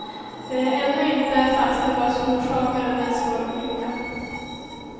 Det är ännu inte fastställt vad som orsakade den svåra olyckan.